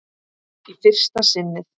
Í fyrsta sinnið.